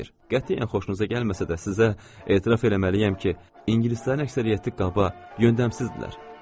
Qətiyyən xoşunuza gəlməsə də, sizə etiraf eləməliyəm ki, ingilislərin əksəriyyəti qaba, yöndəmsizdirlər.